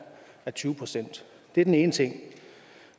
er tyve procent det er den ene ting